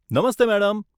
Namaste madam.